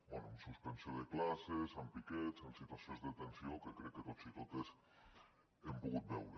bé amb suspensió de classes amb piquets amb situacions de tensió que crec que tots i totes hem pogut veure